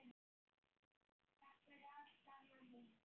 Takk fyrir allt, amma mín.